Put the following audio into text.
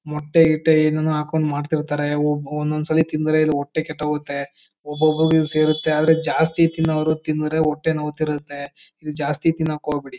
ಮೊಟ್ಟೆ ಗಿಟ್ಟೆ ಏನೇನೊ ಹಾಕೊಂಡು ಮಾಡ್ತಿರ್ತಾರೆ. ಒಂದೊಂದ್ ಸಲ ತಿಂದ್ರೆ ಹೊಟ್ಟೆ ಕೆಟ್ತಹೋಗುತ್ತೆ. ಒಬೋಬ್ರುಗೆ ಸೇರುತ್ತೆ ಆದ್ರೆ ಜಾಸ್ತಿ ತಿನ್ನವರು ತಿಂದ್ರೆ ಹೊಟ್ಟೆ ನೋವುತ್ತಿರುತ್ತೆ ಜಾಸ್ತಿ ತಿನ್ನೋಕ್ ಹೋಗ್ಬೇಡಿ.